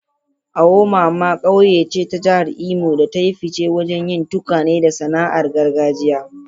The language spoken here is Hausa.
Awomama ƙauye ce ta Jihar Imo da ta yi fice wajen yin tukwane da sana'ar gargajiya.